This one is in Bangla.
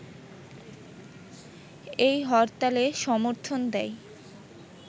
এই হরতালে সমর্থন দেয়